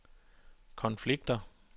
konflikter